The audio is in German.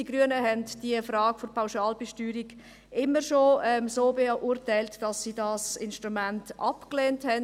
Die Grünen haben die Frage der Pauschalbesteuerung immer schon so beurteilt, dass sie dieses Instrument ablehnten.